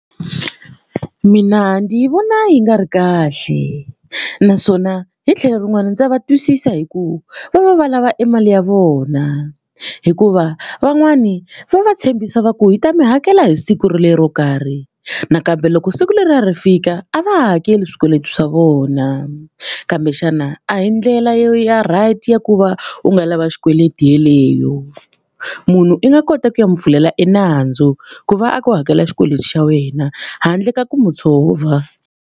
Mina ndzi vona yi nga ri kahle naswona hi tlhelo rin'wani ndza va twisisa hi ku va va va lava e mali ya vona hikuva van'wani va va tshembisa va ku hi ta mi hakela hi siku rolero karhi nakambe loko siku leriya ri fika a va ha hakeli swikweleti swa vona kambe xana a hi ndlela ya right ya ku va u nga lava xikweleti yeleyo munhu i nga kota ku ya n'wi pfulela e nandzu ku va a ku hakela xikweleti xa wena handle ka ku mu tshova.